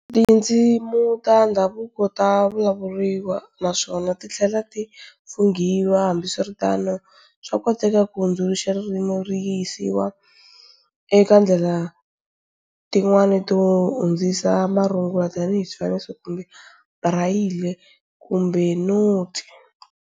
Tindzimi ta ndhavuko tavulavuriwa naswona tithlela ti fungiwa, hambiswiritano swakoteka to hundzuluxa ririmi riyisiwa eka ndlela tin'wana to hundzisa marungula tani hi swifaniso kumbe brayili, kumbe noti.